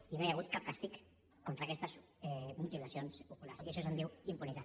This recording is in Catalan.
i no hi ha hagut cap càstig contra aquestes mutilacions oculars i d’això se’n diu impunitat